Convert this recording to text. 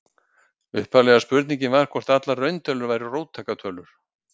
Upphaflega spurningin var hvort allar rauntölur væru róttækar tölur.